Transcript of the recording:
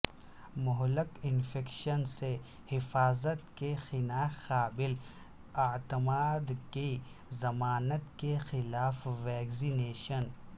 مہلک انفیکشن سے حفاظت کی خناق قابل اعتماد کی ضمانت کے خلاف ویکسینیشن